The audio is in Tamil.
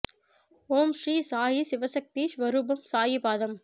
ஓம் ஸ்ரீ சாயி சிவசக்தி ஸ்வரூபம் சாயி பாதம்